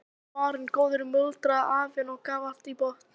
Allur er varinn góður muldraði afinn og gaf allt í botn.